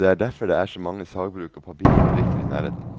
Det er derfor det er så mange sagbruk og papirfabrikker i nærheten.